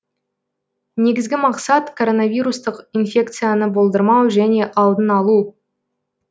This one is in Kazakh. негізгі мақсат коронавирустық инфекцияны болдырмау және алдын алу